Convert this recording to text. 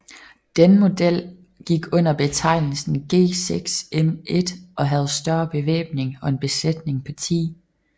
Denne model gik under betegnelsen G6M1 og havde en større bevæbning og en besætning på 10